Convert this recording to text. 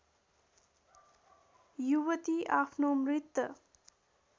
युवती आफ्नो मृत